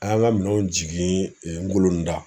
An y'an ka minɛnw jigi n golonda